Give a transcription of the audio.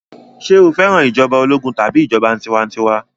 Ṣé o fẹ́ràn ìjọba ológun tàbí ìjọba tiwantiwa?